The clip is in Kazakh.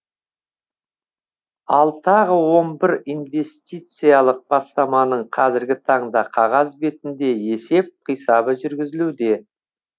ал тағы он бір инвестициялық бастаманың қазіргі таңда қағаз бетінде есеп қисабы жүргізілуде